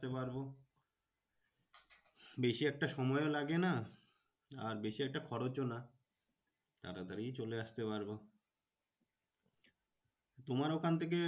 আসতে পারবো। বেশি একটা সময়ও লাগে না। আর বেশি একটা খরচও না। তাড়াতাড়ি চলে আসতে পারবো। তোমার ওখান থেকে